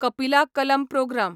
कपिला कलम प्रोग्राम